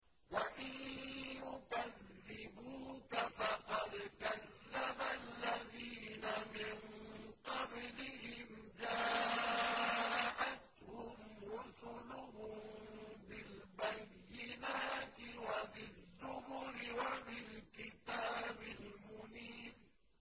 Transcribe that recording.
وَإِن يُكَذِّبُوكَ فَقَدْ كَذَّبَ الَّذِينَ مِن قَبْلِهِمْ جَاءَتْهُمْ رُسُلُهُم بِالْبَيِّنَاتِ وَبِالزُّبُرِ وَبِالْكِتَابِ الْمُنِيرِ